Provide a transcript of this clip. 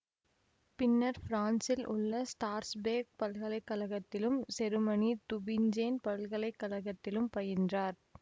பின்னர் பிரான்சில் உள்ள ஸ்ட்ராஸ்பேர்க் பல்கலை கழகத்திலும் செருமனிதுபிஞ்சேன் பல்கலை கழகத்திலும் பயின்றார்